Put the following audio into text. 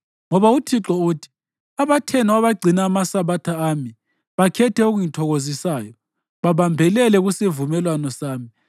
Ngoba uThixo uthi: “Abathenwa abagcina amaSabatha ami bakhethe okungithokozisayo, babambelele kusivumelwano sami,